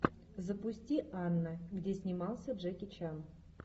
запусти анна где снимался джеки чан